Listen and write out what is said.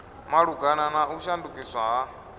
malugana na u shandukiswa ha